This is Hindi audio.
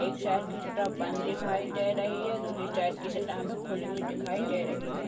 इस साइड की शटर बंद दिखाई दे रही है दूसरी साइड की शटर हमें खुली हुई दिखाई दे रही है।